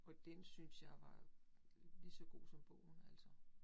Og den syntes jeg var ligeså god som bogen, altså